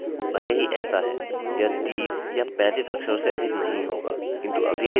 भले ही ऐसा है यह 30 या 35 अक्षरोंकैरेक्टर्ससे अधिक नहीं होगा